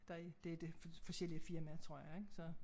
Der er det det forskellige firmaer tror jeg så